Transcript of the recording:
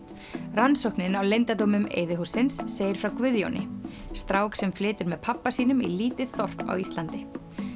rannsóknin á leyndardómum segir frá Guðjóni strák sem flytur með pabba sínum í lítið þorp á Íslandi